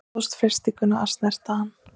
Stóðst freistinguna að snerta hann